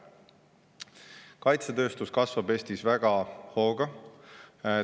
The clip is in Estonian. Kaitsetööstus kasvab Eestis väga hooga.